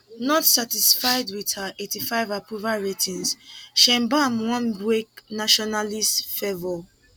not satisfied wit her eighty five approval ratings sheinbaum wan wake nationalist fervour